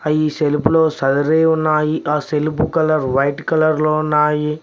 ఈ సెల్ఫ్ లో సదరి ఉన్నాయి ఆ సెల్ఫ్ కలర్ వైట్ కలర్ లో ఉన్నాయి.